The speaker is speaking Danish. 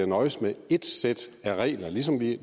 nøjes med ét sæt regler ligesom vi